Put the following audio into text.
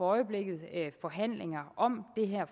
øjeblikket forhandlinger om det her